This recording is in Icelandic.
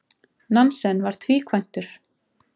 Nansen var tvíkvæntur.